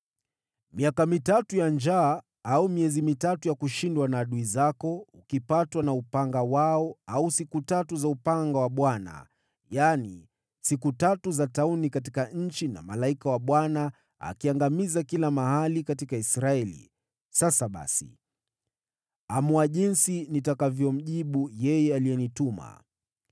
miaka mitatu ya njaa, au miezi mitatu ya kushindwa na adui zako, ukipatwa na upanga wao, au siku tatu za upanga wa Bwana , yaani, siku tatu za tauni katika nchi na malaika wa Bwana akiangamiza kila mahali katika Israeli.’ Sasa basi, amua jinsi nitakavyomjibu yeye aliyenituma.”